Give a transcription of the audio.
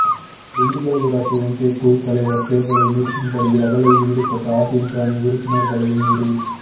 திண்டுக்கல் ஊராட்சி ஒன்றியக் குழுத் தலைவா் தோ்தலை நிறுத்தும்படி ரகளையில் ஈடுபட்ட அதிமுக அணி உறுப்பினா்களையும் மீறி